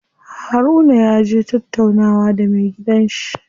Harun yaje tattaunawa da me gidan shi.